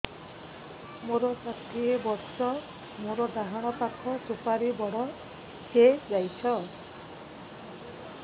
ମୋର ଷାଠିଏ ବର୍ଷ ମୋର ଡାହାଣ ପାଖ ସୁପାରୀ ବଡ ହୈ ଯାଇଛ